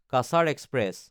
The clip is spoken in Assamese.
কাছাৰ এক্সপ্ৰেছ